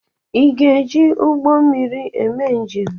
Ị ga-eji ụgbọ mmiri eme njem?